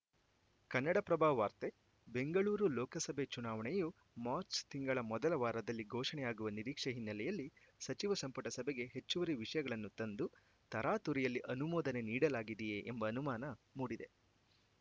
ಕನ್ನಡಪ್ರಭ ವಾರ್ತೆ ಬೆಂಗಳೂರು ಲೋಕಸಭೆ ಚುನಾವಣೆಯು ಮಾರ್ಚ್ ತಿಂಗಳ ಮೊದಲ ವಾರದಲ್ಲಿ ಘೋಷಣೆಯಾಗುವ ನಿರೀಕ್ಷೆ ಹಿನ್ನೆಲೆಯಲ್ಲಿ ಸಚಿವ ಸಂಪುಟ ಸಭೆಗೆ ಹೆಚ್ಚುವರಿ ವಿಷಯಗಳನ್ನು ತಂದು ತರಾತುರಿಯಲ್ಲಿ ಅನುಮೋದನೆ ನೀಡಲಾಗಿದೆಯೇ ಎಂಬ ಅನುಮಾನ ಮೂಡಿದೆ